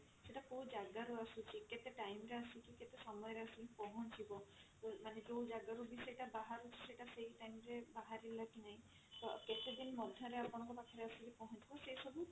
କେତେ time ରେ ଆସିକି କେତେ ସମୟ ରେ ଆସିକି ପହଞ୍ଚିବ ମାନେ ଯଉ ଜାଗା ରୁ ବି ସେଇଟା ବାହାରୁଛି ସେଇଟା ସେଇ time ରେ ବାହାରିଲା କି ନାହିଁ ତ କେତେଦିନ ମଧ୍ୟ ରେ ଆପଣଙ୍କ ପାଖରେ ଆସିକି ପହଞ୍ଚିବ ସେ ସବୁ